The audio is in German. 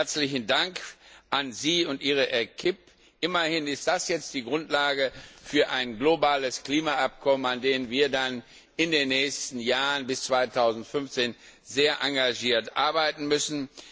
Herzlichen Dank an Sie und Ihre Equipe. Immerhin ist das jetzt die Grundlage für ein globales Klimaübereinkommen, an dem wir dann in den nächsten Jahren bis 2015 sehr engagiert arbeiten müssen.